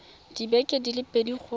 dibeke di le pedi go